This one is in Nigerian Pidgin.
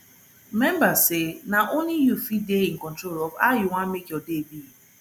remmba say na only yu fit dey in control of how yu wan mek yur day be